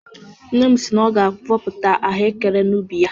Nne m si na ọ ga-avọpụta ahụekere n'ubi ya.